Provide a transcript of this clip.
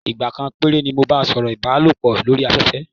Ìgbà kan péré ni mo bá a sọ̀rọ̀ ìbálòpọ̀ lórí afẹ́fẹ́.